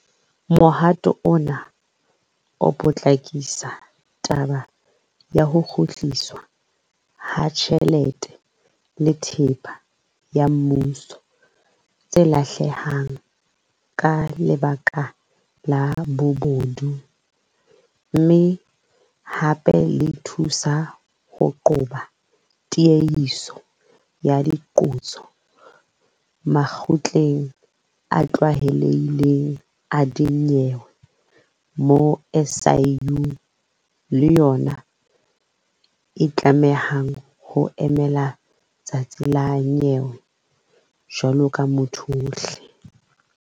Mohato ona o potlakisa taba ya ho kgutliswa ha tjhelete le thepa ya mmuso tse lahlehang ka lebaka la bobodu mme hape le thusa ho qoba tiehiso ya diqoso makgotleng a tlwaelehileng a dinyewe moo SIU le yona e tlamehang ho emela letsatsi la nyewe jwalo ka motho ohle.